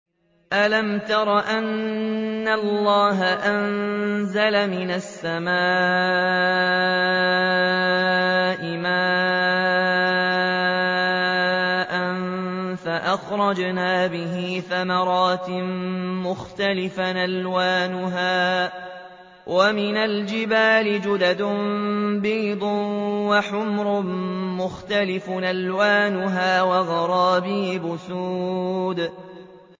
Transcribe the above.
أَلَمْ تَرَ أَنَّ اللَّهَ أَنزَلَ مِنَ السَّمَاءِ مَاءً فَأَخْرَجْنَا بِهِ ثَمَرَاتٍ مُّخْتَلِفًا أَلْوَانُهَا ۚ وَمِنَ الْجِبَالِ جُدَدٌ بِيضٌ وَحُمْرٌ مُّخْتَلِفٌ أَلْوَانُهَا وَغَرَابِيبُ سُودٌ